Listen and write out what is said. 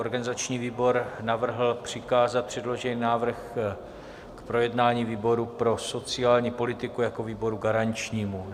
Organizační výbor navrhl přikázat předložený návrh k projednání výboru pro sociální politiku jako výboru garančnímu.